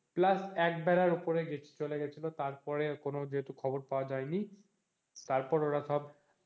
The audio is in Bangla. plus একবেলার উপরের চলে গেছিল তারপর কোনো যেহেতু খবর পাওয়া যায়নি তারপর ওরা সব